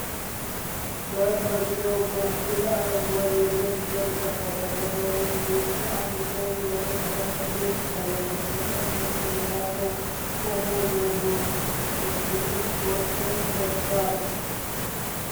በመግቢያው በኩል አረንጓዴ የብረት በር ከፈተ። ከበሩ ውጭ አንድ ሰው ወደ ግራ ሲሄድ ይታያል፤ በስተቀኝ ደግሞ ሌላ ሰው ቆሞ የብሉ ስፖርት ኮት ለብሷል።